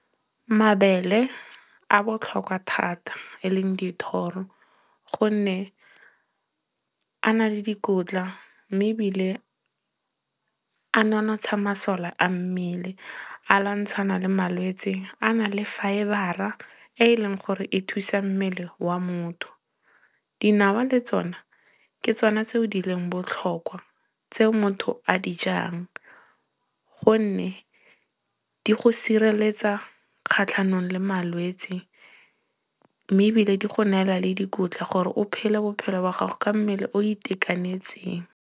Mabele a botlhokwa thata. E leng dithoro gonne a na le dikotla mme ebile a nonotsha masole a mmele. A lwantshana le malwetse, a na le fibre-a e e leng gore e thusa mmele wa motho. Dinawa le tsona, ke tsona tseo di leng botlhokwa tseo motho a di jang. Gonne di go sireletsa kgatlhanong le malwetsi. Mme ebile di go neela le dikotla gore o phele bophelo ba gago ka mmele o itekanetseng.